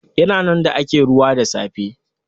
Ya na nan da ake ruwa da safe.